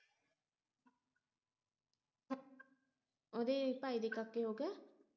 ਉਹਦੇ ਭਾਈ ਦੇ ਕਾਕੇ ਹੋ ਗਿਆ